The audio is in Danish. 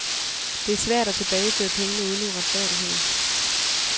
Det er svært at tilbageføre pengene uden uretfærdigheder.